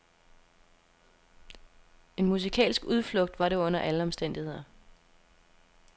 En musikalsk udflugt var det under alle omstændigheder.